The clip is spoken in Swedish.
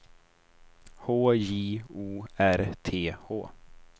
H J O R T H